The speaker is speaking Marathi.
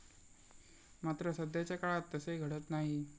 मात्र, सध्याच्या काळात तसे घडत नाही.